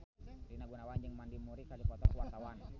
Rina Gunawan jeung Mandy Moore keur dipoto ku wartawan